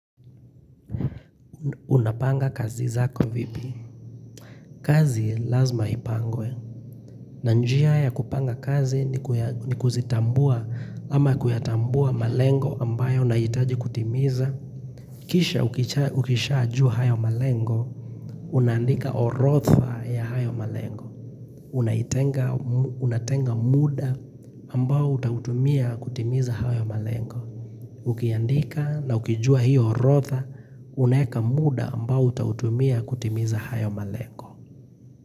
Unapanga kazi zako vipi? Kazi lazima ipangwe. Na njia ya kupanga kazi ni kuzitambua ama kuyatambua malengo ambayo nahitaji kutimiza. Kisha ukishajua hayo malengo, unaandika orodha ya hayo malengo. Unatenga muda ambao utautumia kutimiza hayo malengo. Ukiandika na ukijua hiyo orodha, unaeka muda ambao utautumia kutimiza hayo malengo.